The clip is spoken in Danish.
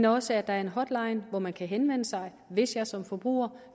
også er en hotline hvor man kan henvende sig hvis man som forbruger